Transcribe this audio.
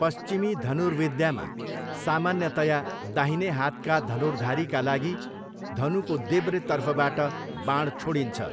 पश्चिमी धनुर्विद्यामा, सामान्यतया दाहिने हातका धनुर्धारीका लागि धनुको देब्रेतर्फबाट बाण छोडिन्छ।